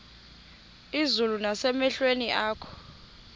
izulu nasemehlweni akho